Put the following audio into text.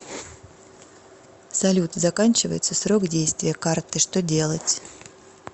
салют заканчивается срок действия карты что делать